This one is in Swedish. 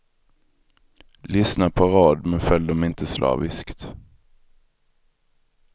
Lyssna på råd, men följ dem inte slaviskt.